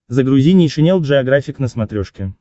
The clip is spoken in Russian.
загрузи нейшенел джеографик на смотрешке